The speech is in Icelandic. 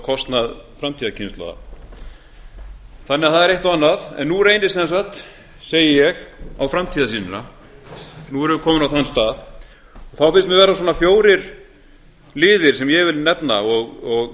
á kostnað framtíðarkynslóða það er því eitt og annað en nú reynir sem sagt segi ég á framtíðarsýnina nú erum við komin á þann stað þá finnst mér vera svona fjórir liðir sem ég vil nefna og